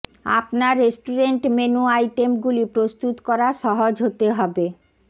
আপনার restaurant menu আইটেমগুলি প্রস্তুত করা সহজ হতে হবে